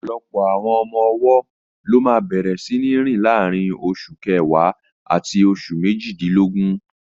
Ọ̀pọ̀lọpọ̀ àwọn ọmọ-ọwọ́ ló máa bẹ̀rẹ̀ síní rìn láàrín oṣù kẹwàá àti oṣù méjìdínlógún